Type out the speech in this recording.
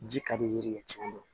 Ji ka di ye yiri ye tiɲɛ don